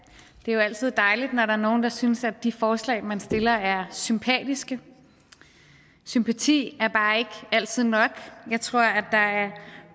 det er jo altid dejligt når der er nogen der synes at de forslag man stiller er sympatiske sympati er bare ikke altid nok jeg tror at der er